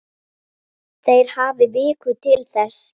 Þeir hafi viku til þess.